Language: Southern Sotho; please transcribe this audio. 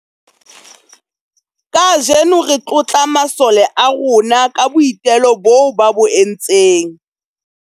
Kajeno re tlotla masole a rona ka boitelo boo ba bo entseng.